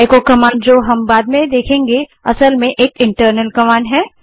एको command जिसे हम बाद में देखेंगे वास्तव में एक इंटरनल कमांड है